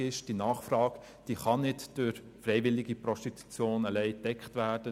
Die Nachfrage kann nicht allein durch freiwillige Prostitution gedeckt werden.